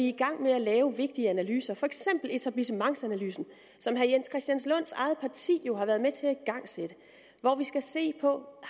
i gang med at lave vigtige analyser for eksempel etablissementsanalysen som herre jens christian lunds eget parti jo har været med til at igangsætte hvor vi skal se på